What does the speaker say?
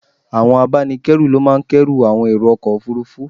Àwọn abánikẹ́rù ló máa ń k'ẹ́rù àwọn èrò ọkọ̀ Òfurufú.